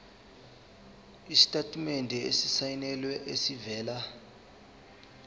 isitatimende esisayinelwe esivela